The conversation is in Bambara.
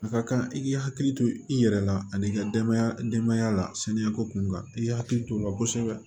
A ka kan i k'i hakili to i yɛrɛ la ani i ka denbaya denbaya la saniya ko kunkan i k'i hakili to o la kosɛbɛ